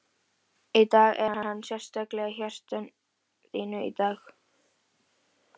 Í dag, er hann sérstaklega í hjarta þínu í dag?